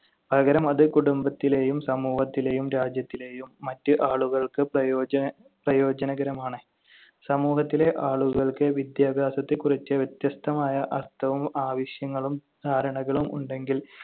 പകരം അത് കുടുംബത്തിലെയും സമൂഹത്തിലെയും രാജ്യത്തിലെയും മറ്റ് ആളുകൾക്ക് പ്രയോജ~ പ്രയോജനകരമാണ്. സമൂഹത്തിലെ ആളുകൾക്ക് വിദ്യാഭ്യാസത്തെക്കുറിച്ച് വ്യത്യസ്തമായ അർത്ഥവും ആവശ്യങ്ങളും ധാരണകളും ഉണ്ടെങ്കിൽ